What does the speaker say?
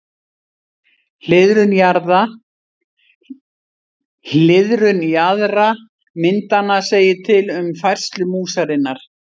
Hliðrun jaðra myndanna segir til um færslu músarinnar.